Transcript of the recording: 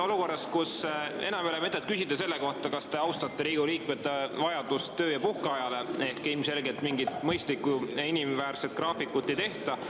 Olukorras, kus enam ei ole mõtet küsida selle kohta, kas te austate Riigikogu liikmete vajadust – ilmselgelt mingit mõistlikku, inimväärset graafikut ei tehta.